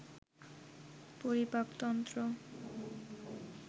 পরিপাক তন্ত্র